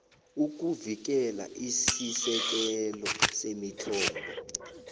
ukuvikela isisekelo semithombo